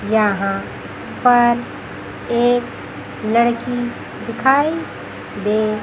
यहां पर एक लड़की दिखाई दे--